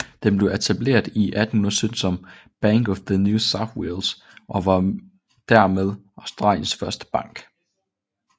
Den blev etableret i 1817 som Bank of New South Wales og var dermed Australiens første bank